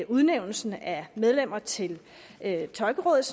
udnævnelsen af medlemmer til tolkerådet